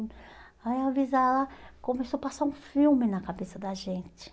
Aí o Avisa lá começou a passar um filme na cabeça da gente.